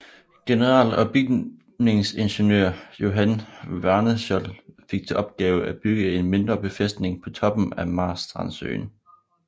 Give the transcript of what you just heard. General og bygningsingeniør Johan Wärneschöld fik til opgave at bygge en mindre befæstning på toppen af Marstrandsøen